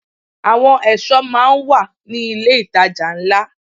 Àwọn ẹ̀ṣọ́ máa ń wà ní ilé ìtajà ńlá.